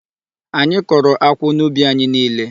Anyị kọrọ akwụ n'ubi anyị niile.